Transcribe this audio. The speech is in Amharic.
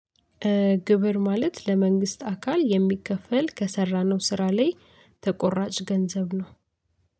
ግብር ማለት ለመንግስት አካል የሚከፈል ከሰራነው ስራ ላይ ተቆራጭ ገንዘብ ነው።